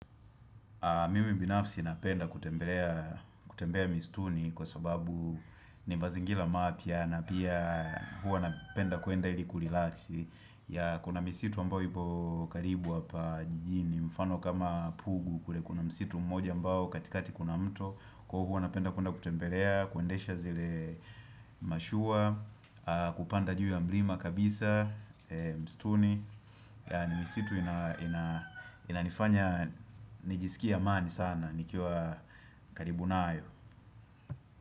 Mimi binafsi napenda kutembea mistuni kwa sababu ni mazingira mapya na pia hua napenda kuenda ili kurelax yeah kuna misitu ambao ipo karibu hapa jijini mfano kama pugu kule kuna misitu mmoja ambao katikati kuna mto Kwa huo napenda kuenda kutembelea, kuendesha zile mashua, kupanda juu ya mlima kabisa, mistuni ni misitu inanifanya nijisikia amani sana nikiwa karibu na nayo.